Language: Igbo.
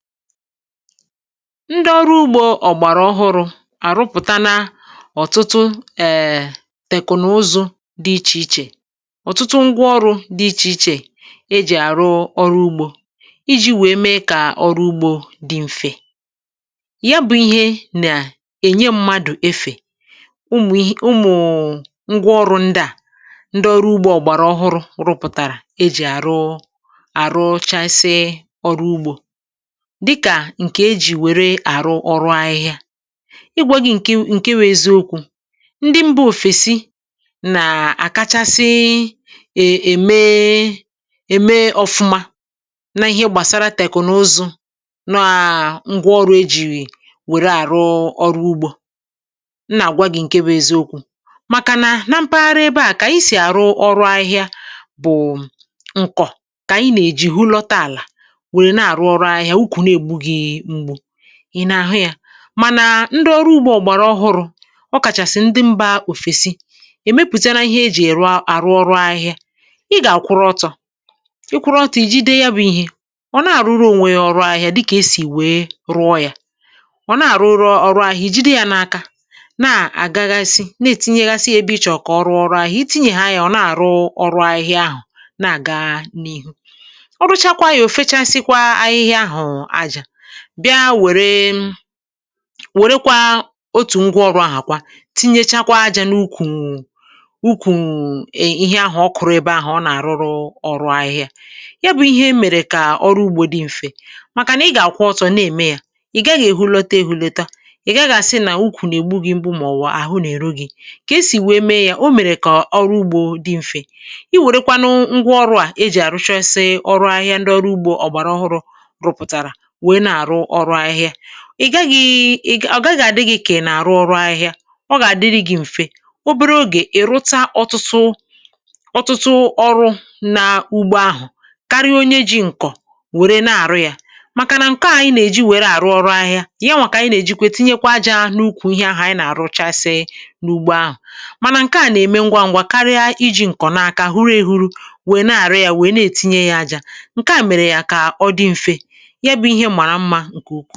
Ndị ọrụ ugbȯ ọ̀gbàrà ọhụrụ̇ àrụpụ̀tana ọ̀tụtụ um tèkụ̀nụ̀zụ dị ichè ichè, ọtụtụ ngwaọrụ̇ dị ichè ichè e jì àrụ ọrụ ugbȯ iji̇ wèe mee kà ọrụ ugbȯ dị mfè. yá bụ̇ ihe nà-ènye mmadụ̀ efè ụmụ̀ ìhè ụmụ̀ụ̀ ngwa ọrụ ndị à ndị ọrụ ugbȯ ọ̀gbàrà ọhụrụ̇ rụpụ̀tàrà ejì àrụ àrụchasi ọrụ ugbȯ dị kà ǹkè ejì wère àrụ ọrụ ahịhịa. Ị̀gwȧ gị ǹke wụ ǹke wụ̇ eziokwu̇ ndị mbà òfèsi nàà àkachasị è é ème e ème ọfụma na ihé gbàsara tèknụzụ nàà ngwà ọrụ̇ ejìrì wère àrụ ọrụ ugbȯ nnà-àgwa gị̇ ǹke wụ̇ eziokwu̇ màkànà na mpaghara ebe a kà ànyị sì àrụ ọrụ ahịhịa bụ̀ ǹkọ̀ kà ànyị nà-èji hụ lọta àlà wéré na arụ ọrụ ahịhịa úkwú na egbu gị mgbu ị nà-àhụ yȧ mànà ndị ọrụ ugbȯ ọ̀gbàrà ọhụrụ̇ ọ kàchàsị̀ ndị mbȧ òfèsi emepụta ná ihe ejì èrụ arụ ọrụ ahịhịa ị gà-àkwụrụ ọtọ̀ ị kwụrụ ọtụ̀ i ji de ya bụ̇ ihė ọ na-àrụrụ ònwè ya ọrụ ahịhịa dị kà esì wèe rụọ yȧ ọ̀ na-àrụrụ ọrụ ahịhịa ijide yȧ n’aka na-àgaghasị na-ètinyeghasi ebe ichọ̇ kà ọrụ ọrụ ahịhịa itihe nà nụ yá ọ̀ na-àrụ ọrụ ahịhịa ahụ̀ na-àga n’ihu. Ọrụ chákwá yá ofechasịkwa ahịhịa áhụ̀ aja bịa wèrè um wèrè kwa otù ngwa ọrụ̇ ahà kwa tinyechakwa ajȧ n’ukwù ukwù ihé ahụ̀ ọ kụ̀rụ̀ ebe ahụ̀ ọ nà-àrụrụ ọrụ ahịhịa. Yá bụ̇ ihé mèrè kà ọrụ ugbȯ dị mfè màkà nà ị gà-àkwụ ọtọ̇ na eme yȧ ị̀ gaghị̇ èhulọta èhulọta, ị̀ gaghị̇ àsị nà ukwù nà-ègbu gị̇ mgbu mà ọwụ àhụ nà-èro gị̇ kà e sì wèe mee yȧ o mèrè kà ọrụ ugbȯ dị mfè i wèrèkwa nụ ngwa ọrụ̇ à e jì àrụchasị ọrụ ahịa ndị ọrụ ugbȯ ọgbàrà ọhụrụ̇ rụpụtara wéé na arụ ọrụ ahịhịa ị gaghị̇ ị gà ọ gaghị̇ àdị gị ka ị na àrụ ọrụ ahịhịa ọ gà-àdịrị gị̇ m̀fe obere ogè ị̀ rụta ọtụtụ ọtụtụ ọrụ̇ na ugbo ahụ̀ karịa onye ji ǹkọ̀ wère na-àrụ yȧ màkà nà ǹkọ ànyị nà-èji wère àrụ ọrụ ahịhịa ṅyaṅwa ka ànyị na ejikwe tinye kwa aja n’ukwù ihé ahụ̀ ànyị nà-àrụ chasịị n’ugbo ahụ̀ mànà ǹke à nà-ème ngwa ngwa karịa iji̇ ǹkọ̀ na-aka huru ėhuru wèe na-àrụ ya wèe na-ètinye yȧ ajȧ ǹke à mèrè yȧ kà ọ dị mfe ya bụ ihé mara mma ǹkè ukwu.